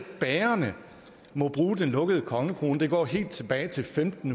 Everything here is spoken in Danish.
bagerne må bruge den lukkede kongekrone går helt tilbage til femten